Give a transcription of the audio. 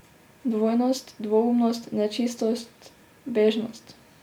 Dvojnost, dvoumnost, nečistost, bežnost.